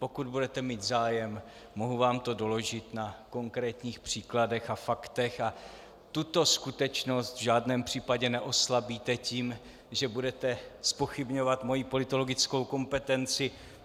Pokud budete mít zájem, mohu vám to doložit na konkrétních příkladech a faktech a tuto skutečnost v žádném případě neoslabíte tím, že budete zpochybňovat moji politologickou kompetenci.